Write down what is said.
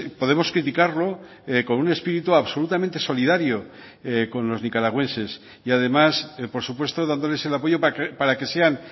podemos criticarlo con un espíritu absolutamente solidario con los nicaragüenses y además por supuesto dándoles el apoyo para que sean